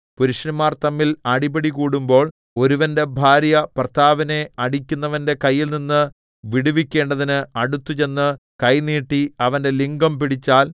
പുരുഷന്മാർ തമ്മിൽ അടിപിടികൂടുമ്പോൾ ഒരുവന്റെ ഭാര്യ ഭർത്താവിനെ അടിക്കുന്നവന്റെ കയ്യിൽനിന്ന് വിടുവിക്കേണ്ടതിന് അടുത്തുചെന്നു കൈ നീട്ടി അവന്റെ ലിംഗം പിടിച്ചാൽ